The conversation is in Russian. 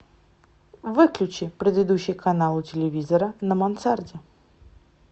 выключи предыдущий канал у телевизора на мансарде